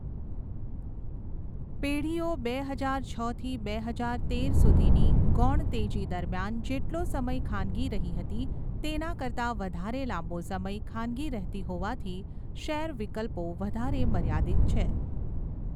પેઢીઓ બે હજાર છથી બે હજાર તેર સુધીની 'ગૌણ તેજી' દરમિયાન જેટલો સમય ખાનગી રહી હતી તેના કરતા વધારે લાંબો સમય ખાનગી રહેતી હોવાથી, શેર વિકલ્પો વધારે મર્યાદિત છે.